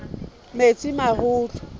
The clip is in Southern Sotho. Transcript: metsimaholo